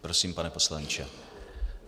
Prosím, pane poslanče.